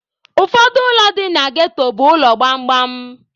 Ụfọdụ ụlọ dị na ghetto bụ ụlọ gbamgbam.